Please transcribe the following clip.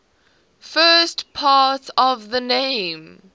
the first part of the name